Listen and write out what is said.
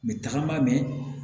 N bɛ taga ba mɛn